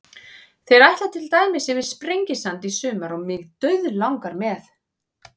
Þeir ætla til dæmis yfir Sprengisand í sumar og mig dauðlangar með.